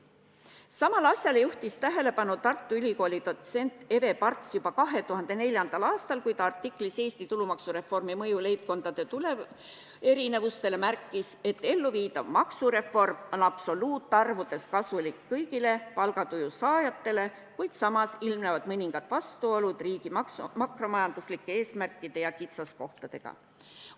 Samale asjale juhtis tähelepanu Tartu Ülikooli dotsent Eve Parts juba 2004. aastal, kui ta artiklis "Eesti tulumaksureformi mõju leibkondade tuluerinevustele" märkis, et elluviidav maksureform on absoluutarvudes kasulik kõigile palgatulu saajatele, kuid samas ilmnevad mõningad vastuolud riigi makromajanduslike eesmärkide ja kitsaskohtadega.